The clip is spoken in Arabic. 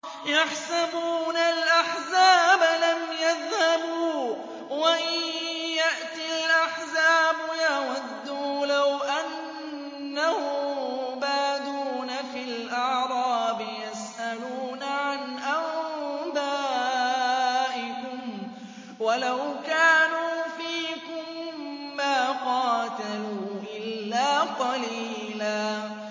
يَحْسَبُونَ الْأَحْزَابَ لَمْ يَذْهَبُوا ۖ وَإِن يَأْتِ الْأَحْزَابُ يَوَدُّوا لَوْ أَنَّهُم بَادُونَ فِي الْأَعْرَابِ يَسْأَلُونَ عَنْ أَنبَائِكُمْ ۖ وَلَوْ كَانُوا فِيكُم مَّا قَاتَلُوا إِلَّا قَلِيلًا